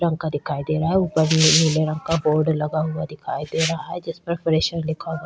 रंग का दिखाई दे रहा है ऊपर नीले रंग का बोर्ड लगा हुआ दिखाई दे रहा है जिस पर फ्रेशेर लिखा हुआ --